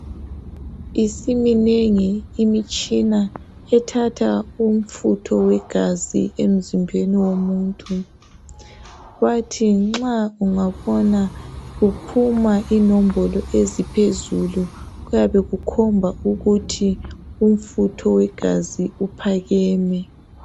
Isiminengi imitshina ethatha umfutho wegazi emzimbeni womuntu bathi nxa ungabona kuphuma inombolo eziphezulu kuyabe kukhomba ukuthi umfutho wegazi uphakeme.